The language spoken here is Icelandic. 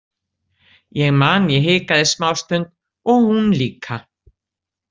Ég man að ég hikaði smástund og hún líka.